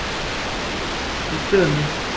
Bankinn er nú til sölu.